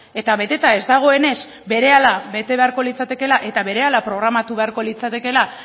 eta beteta ez dagoenez berehala bete beharko litzatekeela eta berehala programatu beharko litzatekeela